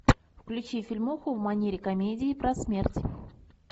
включи фильмуху в манере комедии про смерть